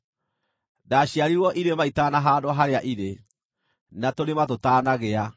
ndaciarirwo irĩma itanahaandwo harĩa irĩ, na tũrĩma tũtanagĩa,